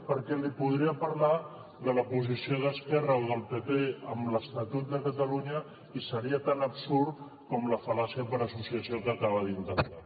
perquè li podria parlar de la posició d’esquerra o del pp amb l’estatut de catalunya i seria tan absurd com la fal·làcia per associació que acaba d’intentar